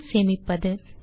பின் சேமிப்பது